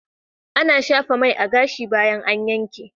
Ana shafa mai a gashi bayan an yanke.